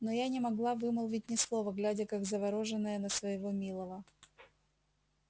но я не могла вымолвить ни слова глядя как заворожённая на своего милого